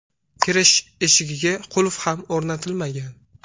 Kirish eshigiga qulf ham o‘rnatilmagan.